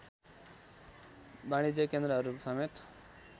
वाणिज्य केन्द्रहरू समेत